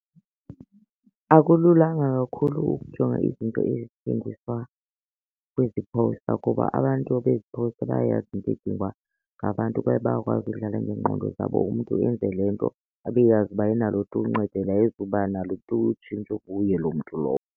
Akululanga kakhulu ukujonga izinto ezithengiswa kwezi phowusta kuba abantu bezi phowusta bayayazi into edingwa ngabantu kwaye bayakwazi udlala ngeengqondo zabo. Umntu enze le nto abe eyazi uba ayinalo tu uncedo and ayizuba nalo tu utshintsho kuye loo mntu lowo.